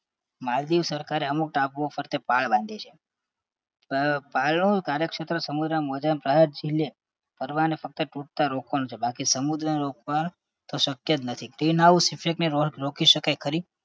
માલદીવ સરકારે અમુક ટાપુઓ ફરતે પાળ બાંધી છે. પાળ પાળનું કાર્યક્ષેત્ર સમુદ્રના મોજા કદાચ ઝીલે પડતા ફક્ત તૂટતાં રોકવાનું છે બાકી સમુદ્રને રોકવાનું તો શક્ય જ નથી green house effect ને રોક રોકી શકાય ખરી?